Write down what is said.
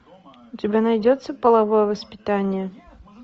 у тебя найдется половое воспитание